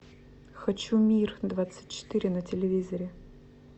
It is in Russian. хочу мир двадцать четыре на телевизоре